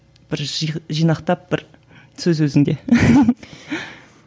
бір жинақтап бір сөз өзіңде